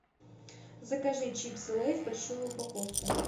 закажи чипсы лейс большую упаковку